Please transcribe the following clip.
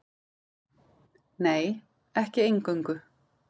Nei, ekki eingöngu.